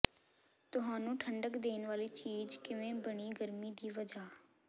ਤੁਹਾਨੂੰ ਠੰਡਕ ਦੇਣ ਵਾਲੀ ਚੀਜ਼ ਕਿਵੇਂ ਬਣੀ ਗਰਮੀ ਦੀ ਵਜ੍ਹਾ